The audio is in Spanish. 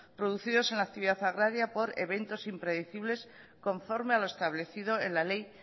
producidos en la actividad agraria por eventos impredecibles conforme a lo establecido en la ley